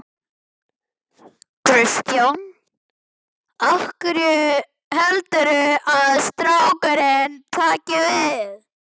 Kristján: Heldurðu að strákurinn taki við?